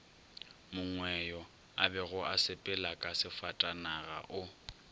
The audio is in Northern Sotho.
mongweyo abego a sepelaka sefatanagao